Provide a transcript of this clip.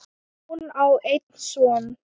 Hún á einn son.